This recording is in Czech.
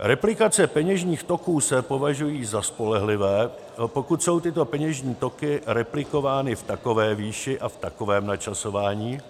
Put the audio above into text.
Replikace peněžních toků se považují za spolehlivé, pokud jsou tyto peněžní toky replikovány v takové výši a v takovém načasování,